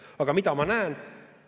Aga mida ma näen?